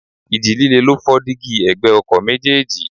Ìji líle ló fọ́ dígí ẹ̀gbẹ́ ọkọ̀ méjèèjì.